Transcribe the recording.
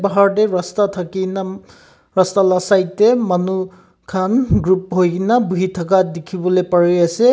bhar tae rastina thakina rasta laga side tae manu khan group hoina bhui thaka dekhivo lae pari ase.